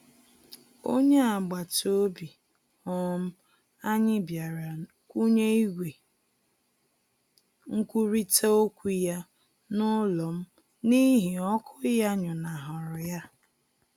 Onye agbataobi um anyị bịara kwụnye igwe nkwurita okwu ya n'ụlọ m n'ihi ọkụ ya nyụnahụrụ ya.